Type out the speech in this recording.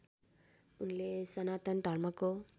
उनले सनातन धर्मको